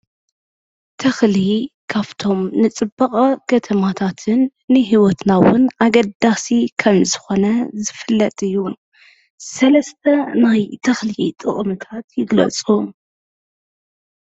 ተኽሊ ካብቶም ንፅባቐ ከተማታትን ንህይወትና እውን ኣገዳሲ ከምዝኾነ ዝፍለጥ እዩ፡፡ ሰለስተ ናይ ተኽሊ ጥቕምታት ይግለፁ?